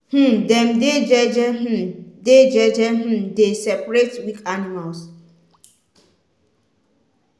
um dem dey jeje um dey jeje um dey separate weak animals.